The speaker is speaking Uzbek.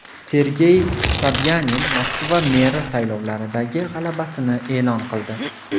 Sergey Sobyanin Moskva meri saylovidagi g‘alabasini e’lon qildi.